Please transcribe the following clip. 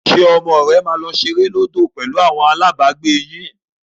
Ṣé ọmọ rẹ máa lọ ṣeré lódò pẹ̀lú àwọn alábàágbé yín?